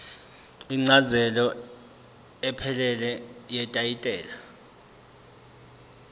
incazelo ephelele yetayitela